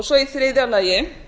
svo í þriðja lagi